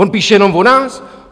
On píše jenom o nás?